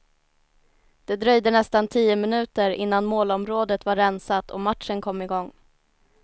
Det dröjde nästan tio minuter innan målområdet var rensat och matchen kom igång.